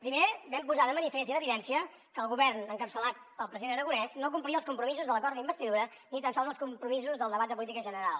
primer vam posar de manifest i en evidència que el govern encapçalat pel president aragonès no complia els compromisos de l’acord d’investidura ni tan sols els compromisos del debat de política general